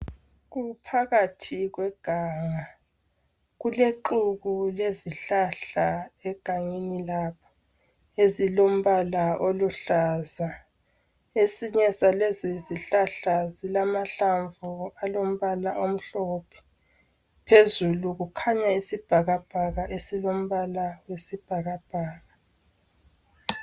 Kuphakathi kweganga kulexhuku lezihlahla egangeni lapho ezilombala oluhlaza esinye salezizihlahla zilamahlamvu alombala omhlophe phezulu kukhanya isibhakabhaka esilombala oyisibhakabhaka.